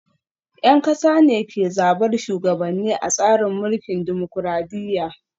Yan kasa ne ke zabar shugabanni a tsarin mulkin dimokuradiyya